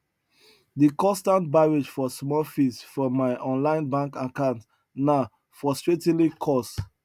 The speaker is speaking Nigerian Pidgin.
di constant barrage for small fees from mai online bank account na frustratingly cos